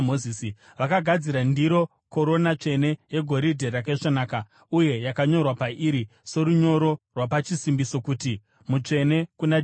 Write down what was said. Vakagadzira ndiro, korona tsvene, yegoridhe rakaisvonaka uye yakanyorwa pairi, sorunyoro rwapachisimbiso, kuti: mutsvene kuna jehovha .